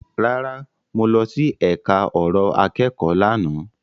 Rárá, mo lọ sí ẹka ọ̀rọ̀ akẹ́kọ̀ọ́ lánàá.